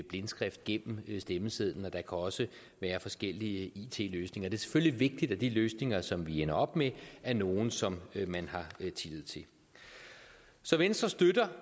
blindskrift gennem stemmesedlen der også være forskellige it løsninger det er selvfølgelig vigtigt at de løsninger som vi ender op med er nogle som man har tillid til så venstre støtter